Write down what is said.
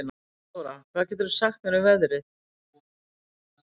Ástþóra, hvað geturðu sagt mér um veðrið?